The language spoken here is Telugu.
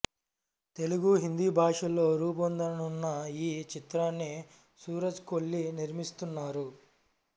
తెలుగు హిందీ భాషల్లో రూపొందనున్న ఈ చిత్రాన్ని సూరజ్ కొల్లి నిర్మిస్తున్నారు